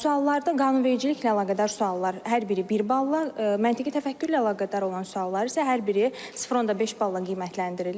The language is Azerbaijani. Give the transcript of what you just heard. Suallarda qanunvericiliklə əlaqədar suallar hər biri bir balla, məntiqi təfəkkürlə əlaqədar olan suallar isə hər biri 0.5 balla qiymətləndirilir.